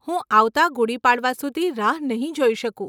હું આવતાં ગુડી પાડવા સુધી રાહ નહીં જોઈ શકું.